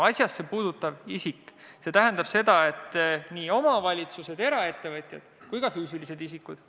Asjasse puutuv isik tähendab nii omavalitsusi, eraettevõtjaid kui ka füüsilisi isikuid.